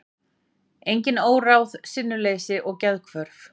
Einnig óráð, sinnuleysi og geðhvörf.